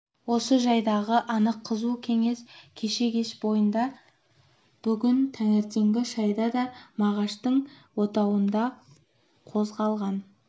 осы жайдағы анық қызу кеңес кеше кеш бойында бүгін таңертеңгі шайда да мағаштың отауында қозғалған